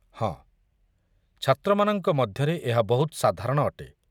ହଁ, ଛାତ୍ରମାନଙ୍କ ମଧ୍ୟରେ ଏହା ବହୁତ ସାଧାରଣ ଅଟେ।